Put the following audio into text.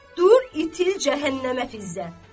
Dur, itil cəhənnəmə Fizzə.